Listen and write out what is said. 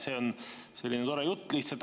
See on selline tore jutt lihtsalt.